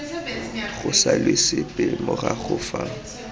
go salwe sepe morago fa